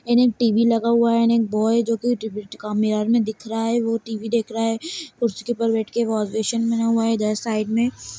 And एक T. V. लगा हुआ हैं एंड एक बॉय हैं जो कि मिरर में दिख रहा हैं वो टी. वी. देख रहा हैं कुर्सी के ऊपर बैठ के वॉश बेसिन बना हुआ हैं वो इधर साइड में--